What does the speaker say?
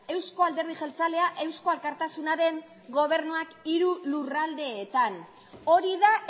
euzko alderdi jeltzalea eusko alkartasunaren gobernuak hiru lurraldeetan hori da